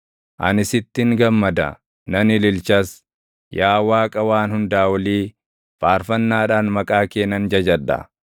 Ani sittin gammada; nan ililchas; yaa Waaqa Waan Hundaa Olii, faarfannaadhaan maqaa kee nan jajadha.